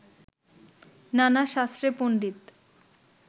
নানা শাস্ত্রে পন্ডিত